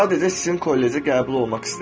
Sadəcə sizin kollecə qəbul olmaq istəyirəm.